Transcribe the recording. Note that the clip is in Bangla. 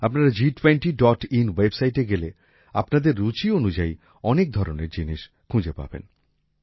আপনারা G20in ওয়েবসাইটে গেলে আপনাদের রুচি অনুযায়ী অনেক ধরনের জিনিস খুঁজে পাবেন